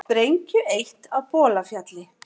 Sprengju eytt á Bolafjalli